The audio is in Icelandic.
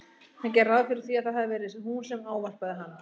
Hann gerði ráð fyrir því að það hafi verið hún sem ávarpaði hann.